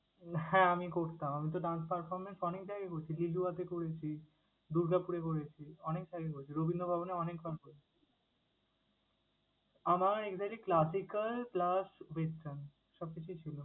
হ্যাঁ! আমি করতাম। আমি তো dance performance অনেক জায়গায় করেছি। জেজুয়াতে করেছি, দুর্গাপুরে করেছি, অনেক জায়গায় করেছি, রবীন্দ্র ভবনে অনেক dance করেছি। আমার exactly classical plus break dance কিছুই ছিলো।